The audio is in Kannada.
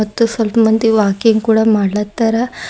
ಮತ್ತು ಸ್ವಲ್ಪ್ ಮಂದಿ ವಾಕಿಂಗ್ ಕೂಡ ಮಾಡ್ಲತಾರ.